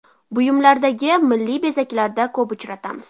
buyumlardagi milliy bezaklarda ko‘p uchratamiz.